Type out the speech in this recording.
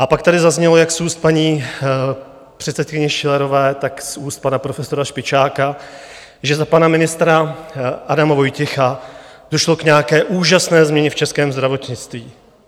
A pak tady zaznělo jak z úst paní předsedkyně Schillerové, tak z úst pana profesora Špičáka, že za pana ministra Adama Vojtěcha došlo k nějaké úžasné změně v českém zdravotnictví.